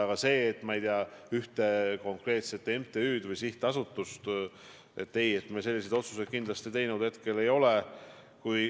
Aga mis puudutab ühte konkreetset MTÜ-d või sihtasutust, siis ei, me selliseid otsuseid kindlasti teinud ei ole.